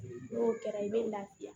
N'o kɛra i bɛ lafiya